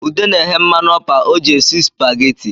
Ude na-ehe mmanụ ọpa o ji esi spaghetti